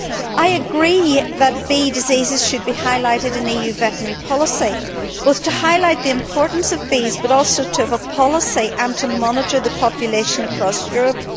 I agree that bee diseases should be highlighted in EU veterinary policy, both to highlight the importance of bees and also to have a policy and to monitor the population across Europe.